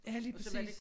Ja lige præcis